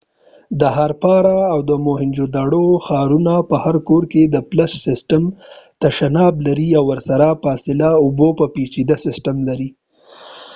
د هارپارا او موهینجودوړو ښارونو په هر کور کې د فلش سیسټم تشناب لري او ورسره د فاضله اوبو یو پيچیده سیسټم لري